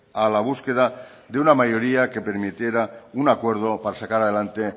a la búsqueda de una mayoría que permitiera un acuerdo para sacar adelante